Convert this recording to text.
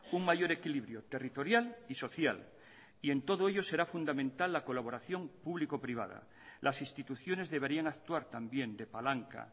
un mayor equilibrio territorial y social y en todo ello será fundamental la colaboración público privada las instituciones deberían actuar también de palanca